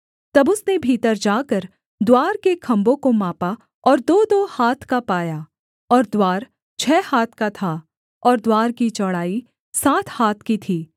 तब उसने भीतर जाकर द्वार के खम्भों को मापा और दोदो हाथ का पाया और द्वार छः हाथ का था और द्वार की चौड़ाई सात हाथ की थी